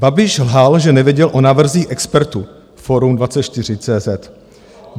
Babiš lhal, že nevěděl o návrzích expertů - forum24.cz